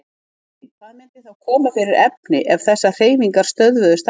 Ef ekki, hvað myndi þá koma fyrir efni ef þessar hreyfingar stöðvuðust alveg?